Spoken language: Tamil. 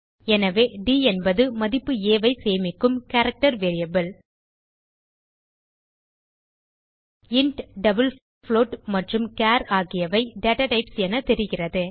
எனவே ட் என்பது மதிப்பு ஆ ஐ சேமிக்கும் character variable int double float மற்றும் சார் ஆகியவை டேட்டாடைப்ஸ் என தெரிகிறது